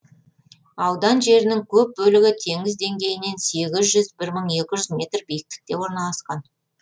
аудан жерінің көп бөлігі теңіз деңгейінен сегіз жүз бір мың екі жүз метр биікте орналасқан